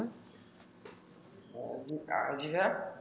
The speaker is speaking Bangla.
জি ভাইয়া?